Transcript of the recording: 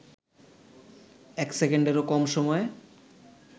এক সেকেন্ডেরও কম সময়ে